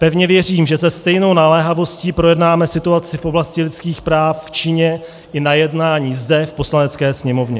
Pevně věřím, že se stejnou naléhavostí projednáme situaci v oblasti lidských práv v Číně i na jednání zde v Poslanecké sněmovně.